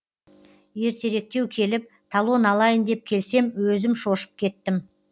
ертеректеу келіп талон алайын деп келсем өзім шошып кеттім